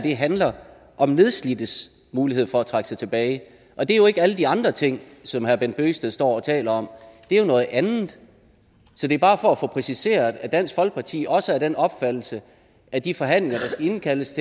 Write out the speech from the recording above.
handler om nedslidtes muligheder for at trække sig tilbage og det er jo ikke alle de andre ting som herre bent bøgsted står og taler om det er jo noget andet så det er bare for at få præciseret at dansk folkeparti også er af den opfattelse at de forhandlinger der skal indkaldes